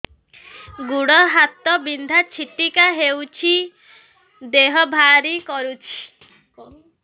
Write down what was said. ଗୁଡ଼ ହାତ ବିନ୍ଧା ଛିଟିକା ହଉଚି ଦେହ ଭାରି କରୁଚି